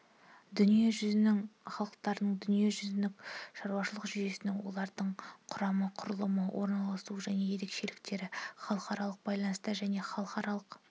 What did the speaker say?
дүние жүзінің халықтарын дүниежүзінің шаруашылық жүйесін олардың құрамы құрылымы орналасуы және ерекшеліктері халықаралық байланыстар және халықаралық